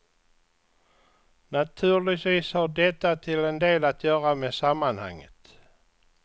Naturligtvis har detta till en del att göra med sammanhanget.